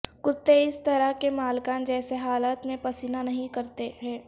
کتے اس طرح کے مالکان جیسے حالات میں پسینہ نہیں کرتے ہیں